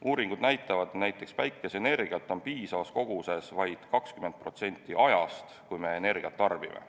Uuringud näitavad, et näiteks päikeseenergiat on piisavas koguses vaid 20% ajast, kui me energiat tarbime.